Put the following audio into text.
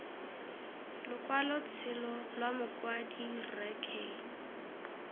lokwalotshelo lwa mokwadi rre k